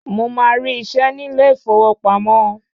Mo máa rí isẹ́ ní ilé ìfowópamọ́